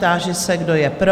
Táži se, kdo je pro?